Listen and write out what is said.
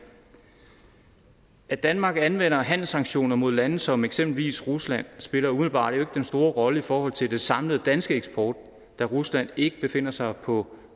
at danmark anvender handelssanktioner mod lande som eksempelvis rusland spiller umiddelbart jo ikke den store rolle i forhold til den samlede danske eksport da rusland ikke befinder sig på